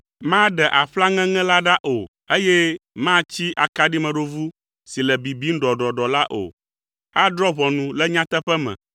Maɖe aƒla ŋeŋe la ɖa o, eye matsi akaɖimeɖovu si le bibim ɖɔɖɔɖɔ la o. Adrɔ̃ ʋɔnu le nyateƒe me.